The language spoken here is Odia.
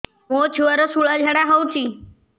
ମୋ ଛୁଆର ସୁଳା ଝାଡ଼ା ହଉଚି